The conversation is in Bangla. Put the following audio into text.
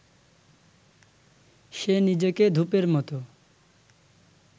সে নিজেকে ধূপের মতো